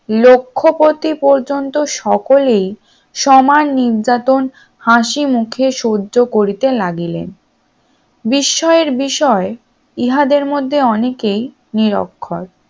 লক্ষ পতি পর্যন্ত সকলেই সমান নির্যাতন হাসিমুখে সহ্য করিতে লাগিলেন বিস্ময়ের বিষয় ইহার মধ্যে অনেকেই নিরক্ষর